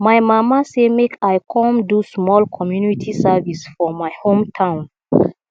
my mama say make i come do small community service for my hometown